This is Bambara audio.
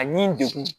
A ɲi degun